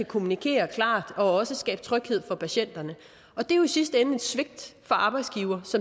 kommunikere klart og også skabe tryghed for patienterne det er jo i sidste ende et svigt fra arbejdsgivers